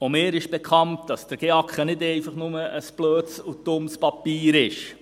Auch mir ist bekannt, dass der GEAK ja nicht einfach nur ein blödes und dummes Papier ist.